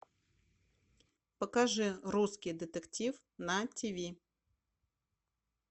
покажи русский детектив на тв